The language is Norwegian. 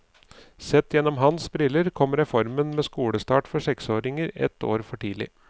Sett gjennom hans briller kom reformen med skolestart for seksåringer ett år for tidlig.